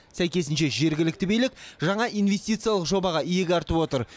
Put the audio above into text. сәйкесінше жергілікті билік жаңа инвестициялық жобаға иек артып отыр